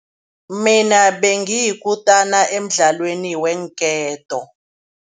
Mina bengiyikutani emdlalweni weenketo.